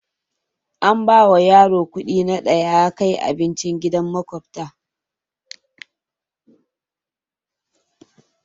An bawa yaron kuɗi na da ya kai abinci gidan maƙota.